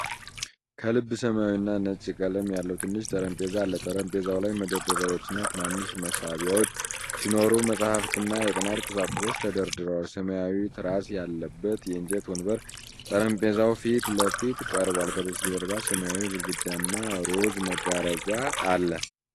ከልብ ሰማያዊና ነጭ ቀለም ያለው ትንሽ ጠረጴዛ አለ። ጠረጴዛው ላይ መደርደሪያዎችና ትናንሽ መሳቢያዎች ሲኖሩ፣ መጻሕፍትና የጥናት ቁሳቁሶች ተደርድረዋል። ሰማያዊ ትራስ ያለበት የእንጨት ወንበር ጠረጴዛው ፊት ለፊት ቀርቧል። ከበስተጀርባ ሰማያዊ ግድግዳና ሮዝ መጋረጃ አለ።